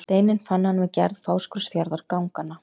Steininn fann hann við gerð Fáskrúðsfjarðarganganna.